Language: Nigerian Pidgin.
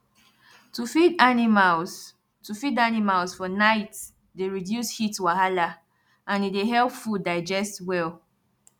to feed animals to feed animals for night dey reduce heat wahala and e dey help food digest well